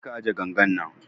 Je ka ajiye gangan nan